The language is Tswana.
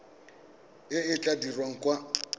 e e tla dirwang kwa